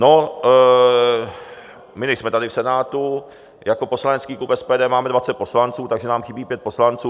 No, my nejsme tady v Senátu, jako poslanecký klub SPD máme 20 poslanců, takže nám chybí pět poslanců.